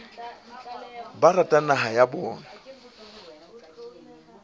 ba ratang naha ya habo